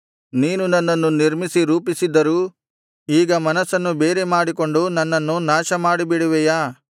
ನೀನು ನನ್ನನ್ನು ನಿರ್ಮಿಸಿ ರೂಪಿಸಿದ್ದರೂ ಈಗ ಮನಸ್ಸನ್ನು ಬೇರೆ ಮಾಡಿಕೊಂಡು ನನ್ನನ್ನು ನಾಶ ಮಾಡಿಬಿಡುವೆಯಾ